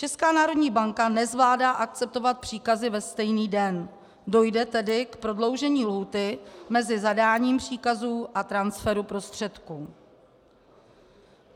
Česká národní banka nezvládá akceptovat příkazy ve stejný den, dojde tedy k prodloužení lhůty mezi zadáním příkazů a transferu prostředků.